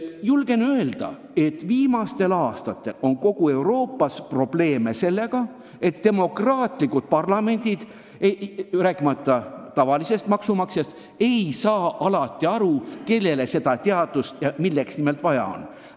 Julgen öelda, et viimastel aastatel on kogu Euroopas olnud probleeme sellega, et demokraatlikud parlamendid, rääkimata tavalisest maksumaksjast, ei saa alati aru, kellele teadust ja milleks nimelt vaja on.